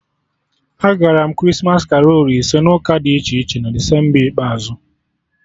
Agara m Krismas karolu ise n'ụka dị iche iche na Desemba ikpeazụ